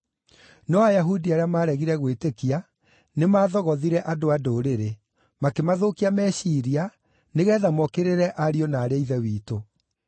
No Ayahudi arĩa maaregire gwĩtĩkia nĩmathogothire andũ-a-Ndũrĩrĩ, makĩmathũkia meciiria nĩgeetha mookĩrĩre ariũ na aarĩ a Ithe witũ.